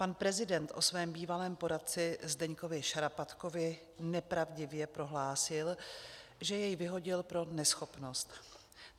Pan prezident o svém bývalém poradci Zdeňkovi Šarapatkovi nepravdivě prohlásil, že jej vyhodil pro neschopnost.